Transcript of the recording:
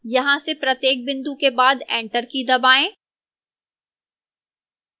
यहां से प्रत्येक बिंदु के बाद enter की दबाएं